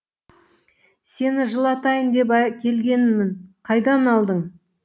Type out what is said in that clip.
сені жылытайын деп әкелгенмін қайдан алдың